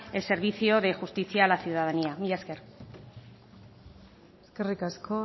el servicio de justicia a la ciudadanía mila esker eskerrik asko